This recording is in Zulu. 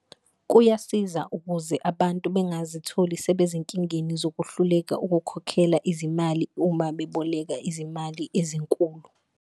Kuyasiza ukuze abantu bengazitholi sebezinkingeni zokuhluleka ukukhokhela izimali uma beboleka izimali ezinkulu.